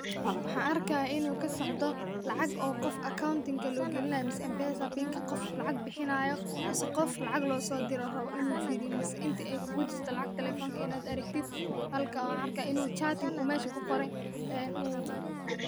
Waxan arkaya inu kasocdo lacag oo qof account loo gelinay ama mpesa pin qof lacag bixinayo mise qof lacag loo soo dire oo rabo inu firiyo mise inti ay kugu jirto lacagta talefonka inad aragtid, halkan waxan arkaya inu chatting uu mesha kuqoran ee uu